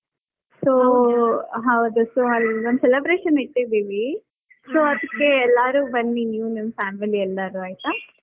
So ಹೌದು so ಒಂದ್ celebration ಇಟ್ಟಿದೀವಿ. So ಅದಕ್ಕೆ ಎಲ್ಲಾರೂ ಬನ್ನಿ, ನೀವು ನಿಮ್ family ಎಲ್ಲಾರೂ ಆಯಿತಾ?.